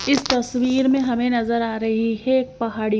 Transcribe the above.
इस तस्वीर में हमें नजर आ रही है एक पहाड़ी--